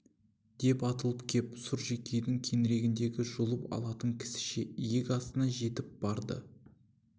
деп атылып кеп сұржекейдің кеңірдегін жұлып алатын кісіше иек астына жетіп барды